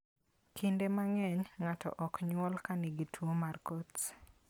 Kinde mang'eny, ng'ato ok nyuol ka en gi tuwo mar Coats.